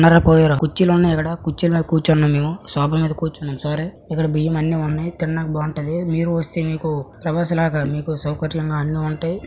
ఉన్నారో పోయారో. కుర్చీలున్నాయి ఇక్కడ. కుర్చీలు మీద కూర్చొనున్నాం మేము. సోఫా మీద కూర్చున్నాం సారీ ఇక్కడ బియ్యం అన్నీ ఉన్నాయ్. తిండానికి బాఉంటది. మీరు వస్తే మీకు ప్రభాస్ లాగా మీకు సౌకర్యంగా అన్నీ ఉంటాయ్.